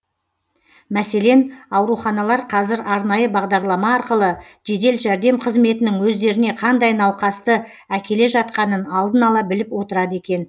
мәселен ауруханалар қазір арнайы бағдарлама арқылы жедел жәрдем қызметінің өздеріне қандай науқасты әкеле жатқанын алдын ала біліп отырады екен